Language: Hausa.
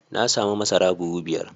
Na samu masara buhu biyar.